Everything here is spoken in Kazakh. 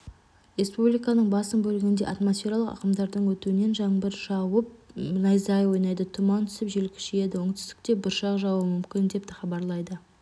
республиканың басым бөлігінде атмосфералық ағымдардың өтуінен жаңбыр жауып найзағай ойнайды тұман түсіп жел күшейеді оңтүстікте бұршақ жаууы мүмкін деп хабарлайды